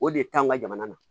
O de taa an ka jamana na